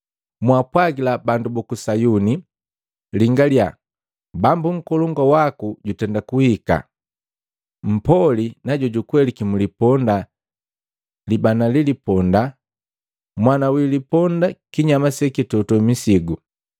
“Mwaapwagila bandu buku Sayuni. Lingaliya, Bambu Nkolongu waku jutenda kuhika! Mpoli na jukweliki mu liponda, libana liliponda, mwana wi liponda kinyama sekitoto misigu.”